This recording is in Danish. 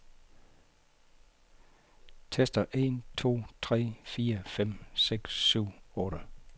Tester en to tre fire fem seks syv otte.